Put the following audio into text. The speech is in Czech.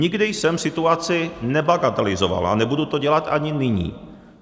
Nikdy jsem situaci nebagatelizoval a nebudu to dělat ani nyní.